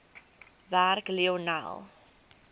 werk lionel